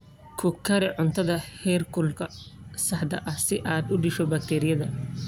Ku kari cuntada heerkulka saxda ah si aad u disho bakteeriyada.